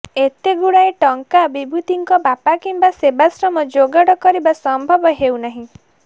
ଏତେଗୁଡ଼ାଏ ଟଙ୍କା ବିଭୂତିଙ୍କ ବାପା କିମ୍ବା ସେବାଶ୍ରମ ଯୋଗାଡ଼ କରିବା ସମ୍ଭବ ହେଉନାହିଁ